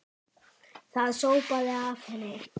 Það sópaði af henni.